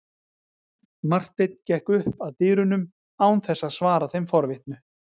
Marteinn gekk upp að dyrunum án þess að svara þeim forvitnu.